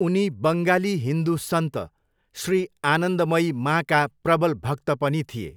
उनी बङ्गाली हिन्दु सन्त, श्री आनन्दमयी माँका 'प्रबल भक्त' पनि थिए।